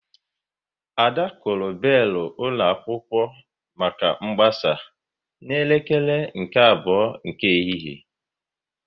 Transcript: Ada kụrụ belu ụlọ akwụkwọ maka mgbasa n'elekere nke abụọ nke ehihie